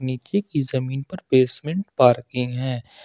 नीचे की जमीन पर बेसमेंट पार्किंग है।